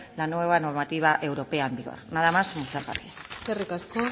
la nueva normativa europea en vigor nada más muchas gracias eskerrik asko